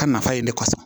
Ka nafa ye ne kɔsɔn